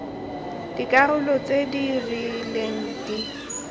dikarolo tse di rileng di